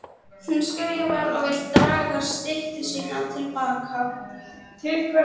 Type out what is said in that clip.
Hún skrifar og vill draga styttu sína til baka.